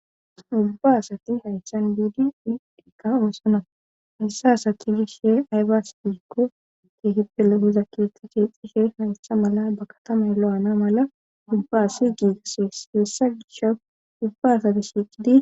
Ubba asati haychan biidi idheka oosona hessa asati gishe aybas diikko teehippele huza keethka sheexxishe haystha mala ba katamay lo'ana mala dubbaasi giigasees hessa gisha ubba asati shiiqidi.